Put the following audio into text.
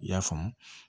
I y'a faamu